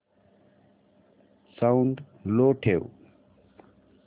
sound low ठेव